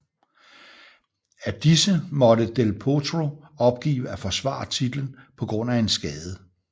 Af disse måtte del Potro opgive at forsvare titlen på grund af en skade